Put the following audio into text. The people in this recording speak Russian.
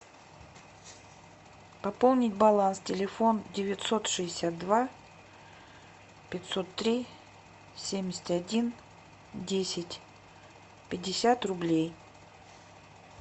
пополнить баланс телефон девятьсот шестьдесят два пятьсот три семьдесят один десять пятьдесят рублей